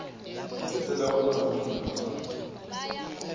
ezilawulwa malunga wazo